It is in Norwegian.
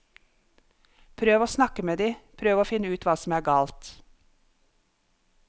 Prøv å snakke med de, prøv å finne ut hva som er galt.